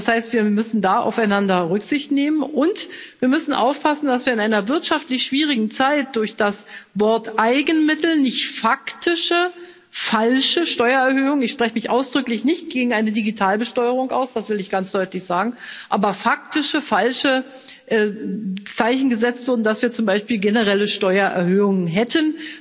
Das heißt, wir müssen da aufeinander Rücksicht nehmen, und wir müssen aufpassen, dass wir in einer wirtschaftlich schwierigen Zeit durch das Wort Eigenmittel nicht faktische falsche Steuererhöhungen ich spreche mich ausdrücklich nicht gegen eine Digitalbesteuerung aus, das will ich ganz deutlich sagen als faktische falsche Zeichen setzen, als ob wir zum Beispiel generelle Steuererhöhungen hätten.